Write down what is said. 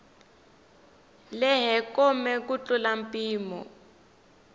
lehe kome ku tlula mpimo